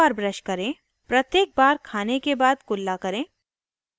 * mineral और calcium से भरपूर खाना खाएं